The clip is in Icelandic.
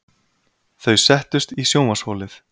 Þau settust í sjónvarpsholið.